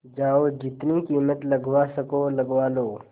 जाओ जितनी कीमत लगवा सको लगवा लो